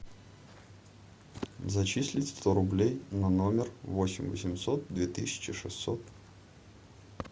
зачислить сто рублей на номер восемь восемьсот две тысячи шестьсот